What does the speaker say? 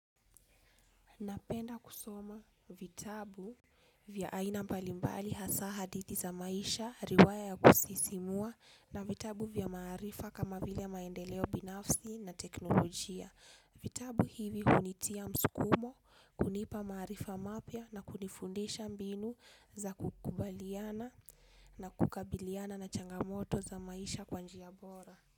Napenda kusoma vitabu vya aina mbalimbali hasaha dithi za maisha, riwaya ya kusisimua na vitabu vya maarifa kama vile maendeleo binafsi na teknolojia. Vitabu hivi hunitia msukumo, kunipa maarifa mapya na kunifundisha mbinu za kukubaliana na kukabiliana na changamoto za maisha kwanji a bora.